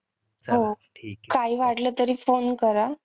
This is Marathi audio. हो. काही वाटलं तरी phone करा.